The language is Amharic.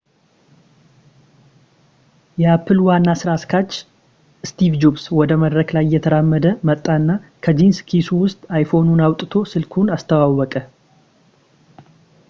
የapple ዋና ስራ አስኪያጅ steve jobs ወደ መድረክ ላይ እየተራመደ ወጣና ከጂንስ ኪሱ ውስጥ iphoneኑን አውጥቶ ስልኩን አስተዋወቀ